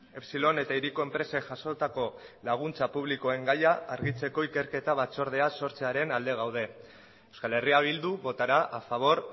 epsilon eta hiriko enpresek jasotako laguntza publikoen gaia argitzeko ikerketa batzordea sortzearen alde gaude euskal herria bildu votará a favor